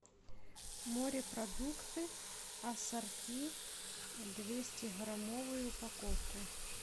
морепродукты ассорти двестиграммовую упаковку